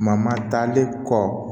talen kɔ